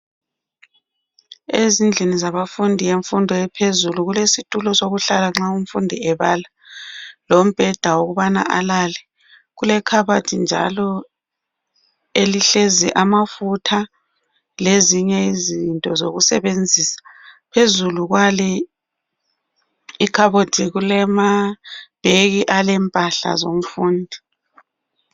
Ezindlini zabafundi bemfundo yaphezulu kulesitulo sokuhlala nxa umfundi ebala lombheda wokubana alale. Kulekhabothi njalo elihlezi amafutha lezinye izinto zokusebenzisa. Phezulu kwale ikhabothi kulamabheki alempahla zomfundi.